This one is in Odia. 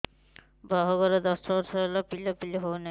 ବାହାଘର ଦଶ ବର୍ଷ ହେଲା ପିଲାପିଲି ହଉନାହି